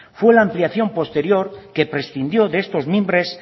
fue la ampliación posterior que prescindió de estos mimbres